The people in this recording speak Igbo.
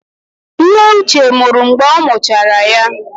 Nne Uche nwụrụ mgbe ọ mụchara ya.